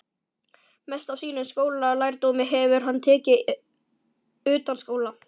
Mest af sínum skólalærdómi hefur hann tekið utanskóla.